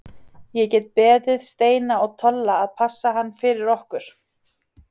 Þá get ég beðið Steina og Tolla að passa hann fyrir okkur.